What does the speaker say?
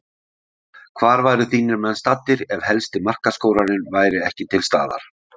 Hvar væru þínir menn staddir ef helsti markaskorarinn væri ekki til staðar?